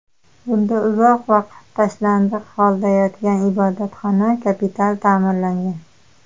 Bunda uzoq vaqt tashlandiq holda yotgan ibodatxona kapital ta’mirlangan.